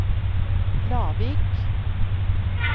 Lavik